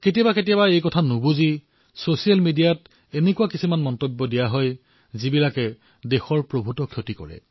কেতিয়াবা কেতিয়াবা এই কথাষাৰ নুবুজাকৈয়ে ছচিয়েল মিডিয়াত এনে কিছুমান কথা কোৱা হয় যিয়ে আমাৰ দেশৰ বহু ক্ষতি কৰে